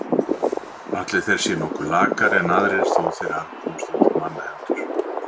Ætli þeir séu nokkuð lakari en aðrir þó þeir hafi komist undir mannahendur.